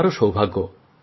আমারও সৌভাগ্য